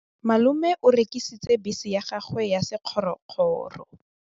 Malome o rekisitse bese ya gagwe ya sekgorokgoro.